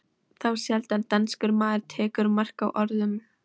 Þá sjaldan danskur maður tekur mark á orðum